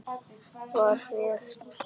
Far vel, kæri mágur.